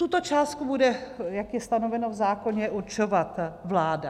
Tuto částku bude, jak je stanoveno v zákoně, určovat vláda.